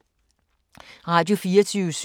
Radio24syv